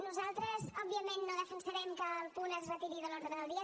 nosaltres òbviament no defensarem que el punt es retiri de l’ordre del dia